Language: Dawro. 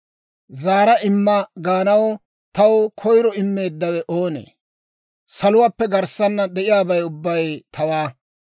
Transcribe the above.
Zaara imma gaanaw, taw koyiro immeeddawe oonee? Saluwaappe garssaana de'iyaabay ubbay tawaa.